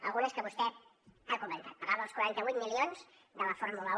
algunes que vostè ha comentat parlava dels quaranta vuit milions de la fórmula un